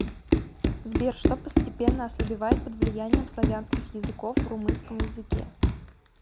сбер что постепенно ослабевает под влиянием славянских языков в румынском языке